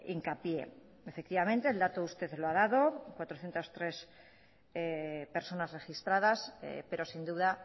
hincapié efectivamente el dato usted lo ha dado cuatrocientos tres personas registradas pero sin duda